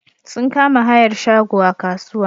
Sun kama hayar shago a kasuwa.